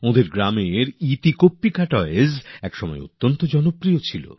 তাঁর গ্রামের এতিকম্পকা টয় একসময় খুব চলতো